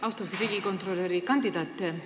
Austatud riigikontrolöri kandidaat!